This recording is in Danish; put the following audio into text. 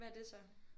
Hvad er det så